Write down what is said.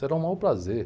Será o maior prazer.